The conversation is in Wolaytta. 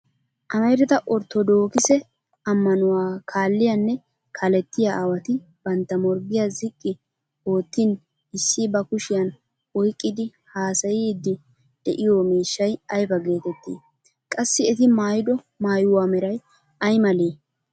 Amarida orttodookise ammanuwa kalliyaanne kaalettiya aawati bantta morggiya ziqqi oottin issi ba kushiyan oyqqidi haasayiiddi de'iyo miishshay ayba geettettii? Qassi eti maayido maayuwa meray ay malee?